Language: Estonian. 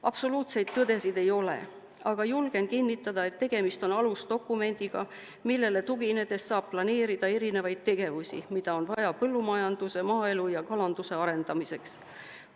Absoluutseid tõdesid ei ole, aga julgen kinnitada, et tegemist on alusdokumendiga, millele tuginedes saab planeerida erinevaid tegevusi, mida on vaja põllumajanduse, maaelu ja kalanduse arendamiseks.